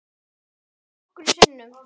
Það snjóaði nokkrum sinnum.